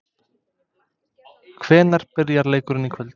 Hvenær byrjar leikurinn í kvöld?